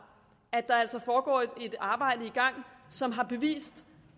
at der altså er et arbejde i gang som har bevist